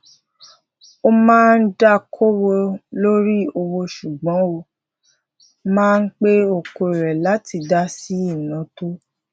ó máa ń dá kowo lori owo sugbon o máa n pe oko re lati da sí inawo to ga